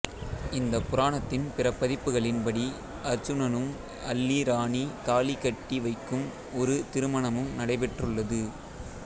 இந்த புராணத்தின் பிற பதிப்புகளின் படி அருச்சுனனுடன் அல்லி ராணி தாலி கட்டிவைக்கும் ஒரு திருமணமும் நடைபெற்றுள்ளது